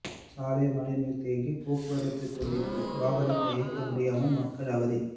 சாலையில் மழைநீா் தேங்கி போக்குவரத்து துண்டிப்பு வாகனங்களை இயக்க முடியாமல் மக்கள் அவதி